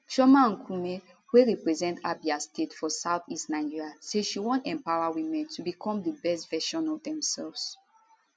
chioma nkumeh wey represent abia state for south east nigeria say she wan empower women to become di best version of themselves